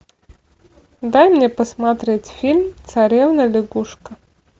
дай мне посмотреть фильм царевна лягушка